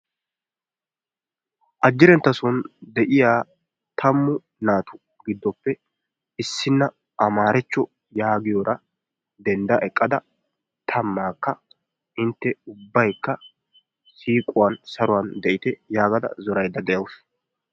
Ajjirenta soon de'iyaa taammu naatuppe gidoppe issiniyaa amaaracho getetiyaara dendda eqqada tammaakka intte ubbaykka siiquwaan saruwaan de'ite yaagada zoorayda de'awus.